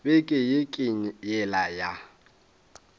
beke ye ke yela ya